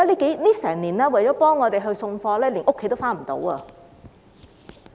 過去一年，他們為我們運送貨物，有家也歸不得。